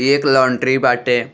एक लाऊँटरी बाटे।